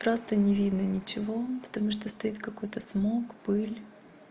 просто не видно ничего потому что стоит какой-то смог пыль